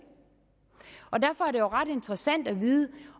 og derfor er det jo ret interessant at vide